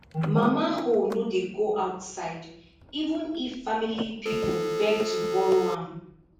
mama hoe no dey go outside even if family people beg to borrow am